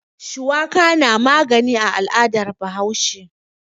Shuwaka na magani a al'adar Bahaushe.